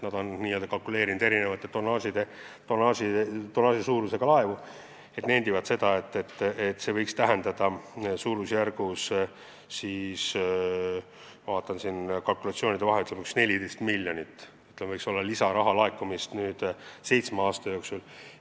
Nad on kalkuleerinud, võttes arvesse erineva tonnaažiga laevu, ja nendivad, et see võiks tähendada 14 miljonit lisaeurot seitsme aasta jooksul.